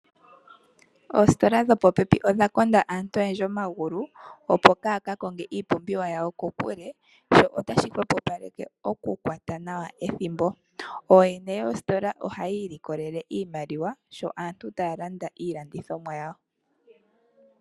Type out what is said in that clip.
Oositola dhopo pepi odha konda aantu oyendji omagulu, opo kaaya ka konge iipumbiwa yawo kokule sho otashi hwepo paleke oku kwata nawa ethimbo. Ooyene yoositola ohayii likolele iimaliwa sho aantu taya landa iilandithomwa yawo.